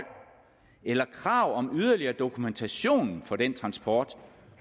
eller krav om yderligere dokumentation for den transport